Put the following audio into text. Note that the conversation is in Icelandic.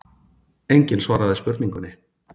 Enginn svaraði spurningunni.